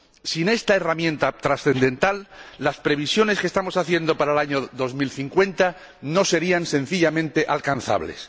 Sin esta herramienta trascendental, las previsiones que estamos haciendo para el año 2050 no serían, sencillamente, alcanzables.